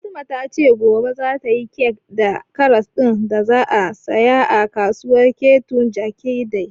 Fatima ta ce gobe za ta yi kek da karas ɗin da za ta saya a kasuwar Keto Jakende